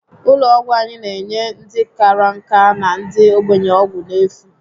Ụlọ ọgwụ anyị n'enye ndị kárá nka na ndị ogbenye ọgwụ n'efu